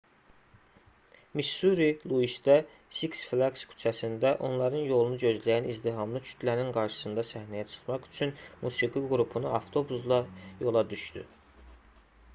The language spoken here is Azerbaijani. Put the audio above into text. missuri luisdə six flaqs küçəsində onların yolunu gözləyən izdihamlı kütlənin qarşısında səhnəyə çıxmaq üçün musiqi qrupunu avtobusla yola düşdü